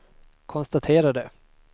konstaterade